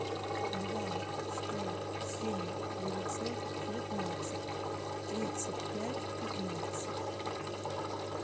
два сто семь девятьсот девятнадцать тридцать пять пятнадцать